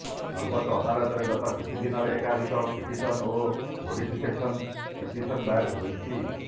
ସର୍ବୋଚ୍ଚ ଅଦାଲତରେ ଗତ କିଛି ଦିନରେ ଏକାଧିକ ପିଟିସନ ଓ ମୋଡିଫିକେସନ ପିଟିସନ ଦାୟର ହୋଇଛି